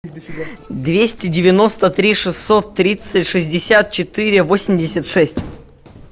двести девяносто три шестьсот тридцать шестьдесят четыре восемьдесят шесть